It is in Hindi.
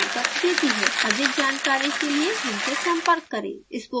अधिक जानकारी के लिए हमसे संपर्क करें